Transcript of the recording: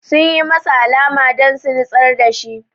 Sun yi masa alama don su nitsar da shi